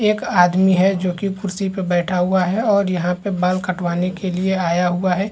ये एक आदमी है जोकि कुर्सी पे बैठा हुआ है और यहाँ पे बाल कटवाने के लिए आया हुआ हैं ।